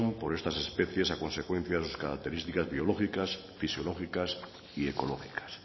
por estas especies a consecuencia de sus características biológicas fisiológicas y ecológicas